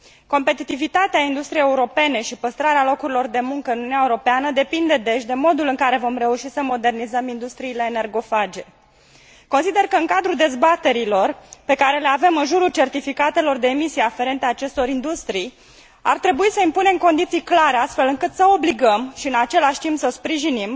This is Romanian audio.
Competitivitatea industriei europene și păstrarea locurilor de muncă în Uniunea Europeană depinde, deci, de modul în care vom reuși să modernizăm industriile energofage. Consider că în cadrul dezbaterilor pe care le avem în jurul certificatelor de emisii aferente acestor industrii, ar trebui să impunem condiții clare, astfel încât să obligăm și, în același timp, să sprijinim